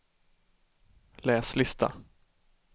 läs lista